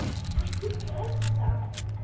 Ekki pressa!